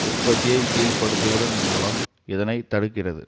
உற்பத்தியை கீழ்ப்படுத்துவதன் மூலம் இதனை தடுக்கிறது